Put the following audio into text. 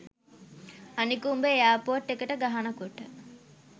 අනික උඹ එයාපෝට් එකට ගහනකොට